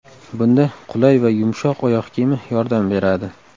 Bunda qulay va yumshoq oyoq kiyimi yordam beradi.